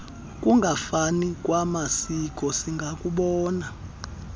kungafani kwamasiko singakubona